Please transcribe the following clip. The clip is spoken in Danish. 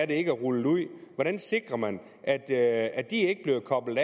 ikke er rullet ud hvordan sikrer man at at de ikke bliver koblet